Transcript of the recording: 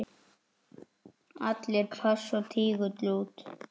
Allir pass og tígull út!